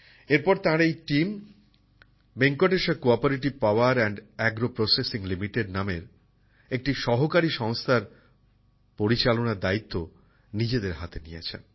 এরপর তাঁর এই team Venkateshwara cooperative power and agro processing limited নামের একটি সহকারী সংস্থার পরিচালনার দায়িত্ব নিজেদের হাতে নিয়েছেন